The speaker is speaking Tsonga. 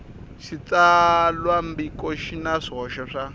xitsalwambiko xi na swihoxo swa